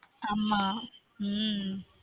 ஆம உம்